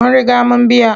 Mun riga mun biya.